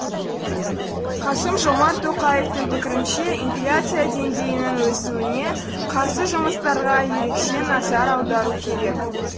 қасым жомарт тоқаевтың пікірінше инфляция деңгейінің өсуіне қарсы жұмыстарға ерекше назар аудару керек